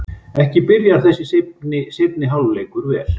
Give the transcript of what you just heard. Ekki byrjar þessi seinni hálfleikur vel!